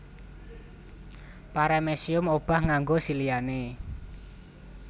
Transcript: Paramecium obah nganggo siliane